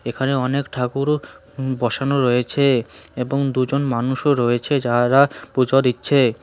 এখানে অনেক ঠাকুরও হু বসানো রয়েছে এবং দুজন মানুষও রয়েছে যাহারা পুজো দিচ্ছে।